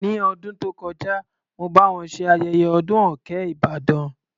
Ní ọdún tó kọjá, mo bá wọn ṣe ayẹyẹ ọdún òkè Ìbàdàn.